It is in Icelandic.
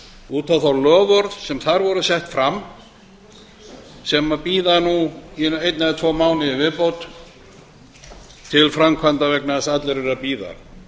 út á þau loforð sem þar voru sett fram sem bíða nú í einn eða tvo mánuði í viðbót eftir framkvæmdum vegna þess að allir eru að bíða